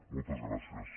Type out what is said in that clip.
moltes gràcies